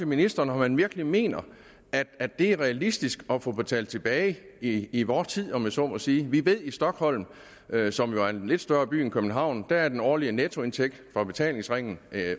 ministeren om han virkelig mener at det er realistisk at få det betalt tilbage i vor tid om jeg så må sige vi ved at i stockholm som jo er en lidt større by end københavn er den årlige nettoindtægt fra betalingsringen